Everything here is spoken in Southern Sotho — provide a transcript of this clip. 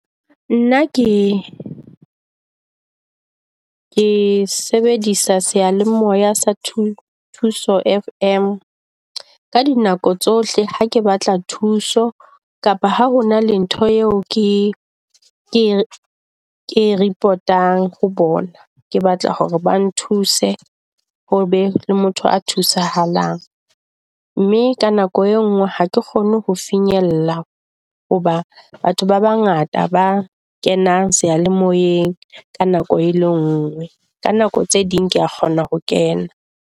Nna ke ke sebedisa seyalemoya sa Thuto FM ka di nako tsohle. Ha ke batla thuso, kapa ha hona le ntho eo ke ke ke report-ang ho bona. Ke batla hore ba nthuse hobe le motho a thusahala mme ka nako e nngwe ha ke kgone ho finyella. Hoba batho ba bangata ba kenang seyalemoyeng ka nako e le ngwe ka nako tse ding kea kgona ho kena.